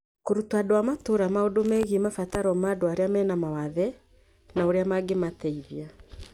Kũruta andũ a matũũra maũndũ megiĩ mabataro ma andũ arĩa me na mawathe na ũrĩa mangĩmateithia